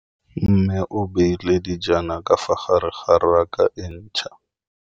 Mmê o beile dijana ka fa gare ga raka e ntšha.